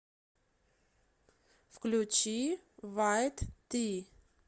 включи вайт ти